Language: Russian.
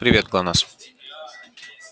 привет глонассс